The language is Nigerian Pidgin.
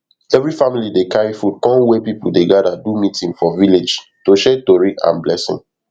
every family dey carry food come where people dey gather do meeting for villlage to share tori and blessing